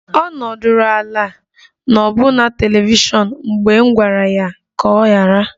Ọ nọdụrụ ala n'ọbuna telivishiọn mgbe m gwara ya ka ọ ghara